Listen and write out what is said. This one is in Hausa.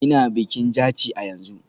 Ina bikin Jaci a yanzu.